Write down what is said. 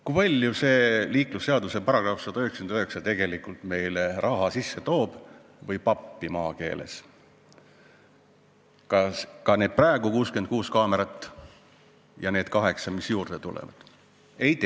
Kui palju see liiklusseaduse § 199 tegelikult toob meile sisse raha või maakeeles öeldes pappi, need praegused 66 kaamerat ja need kaheksa, mis juurde tulevad?